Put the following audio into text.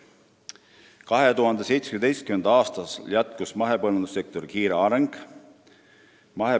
2017. aastal jätkus mahepõllundussektori kiire areng.